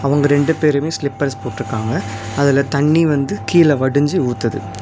அவங்க ரெண்டு பேருமே சிலிப்பர்ஸ் போட்ருக்காங்க அதுல தண்ணி வந்து கீழ வடிஞ்சி ஊத்துது.